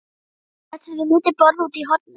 Hann settist við lítið borð úti í horni.